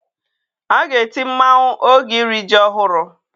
A ga-eti mmanwụ oge iri ji ọhụrụ.